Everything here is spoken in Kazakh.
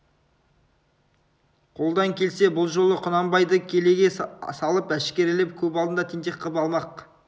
қолдан келсе бұл жолы құнанбайды келеге салып әшкерелеп көп алдында тентек қып алмақ